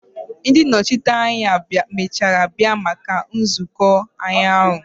Ndi nnochite anya emechara bia maka nzuko ụnyahụ?